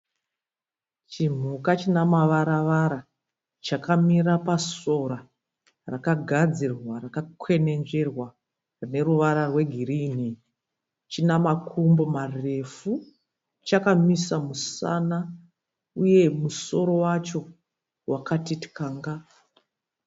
Chimhuka china mavara-vara chakamira pasora rakagadzirwa rakakwenenzverwa rineruvara rwegirini. Chinamakumba marefu chakamisa musana uye musoro wacho wakatityanga.